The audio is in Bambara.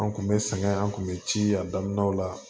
An kun bɛ sɛgɛn an kun bɛ ci a daminɛw la